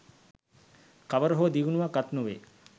කවර හෝ දියුණුවක් අත් නොවේ